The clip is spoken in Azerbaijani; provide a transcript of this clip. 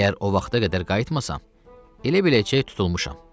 Əgər o vaxta qədər qayıtmasam, elə biləcək tutulmuşam.